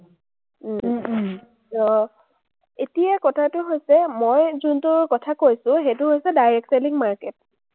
আহ এতিয়া কথাটো হৈছে, মই যোনটো কথা কৈছো, সেইটো হৈছে, direct selling market